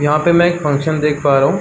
यहाँ पे मैं एक फंक्शन देख पा रहा हूँ।